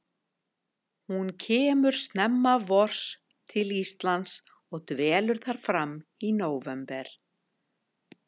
Hún kemur snemma vors til Íslands og dvelur þar fram í nóvember.